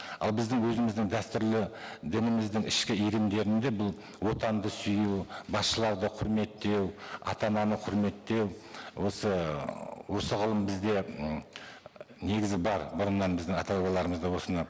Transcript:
ал біздің өзіміздің дәстүрлі дініміздің ішкі ерімдерінде бұл отанды сүю басшыларды құрметтеу ата ананы құрметтеу осы ыыы осы ғылым бізде м негізі бар бұрыннан біздің ата бабаларымыз да осыны